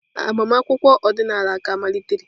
Agbamakwụkwọ ọdịnala ka malitere.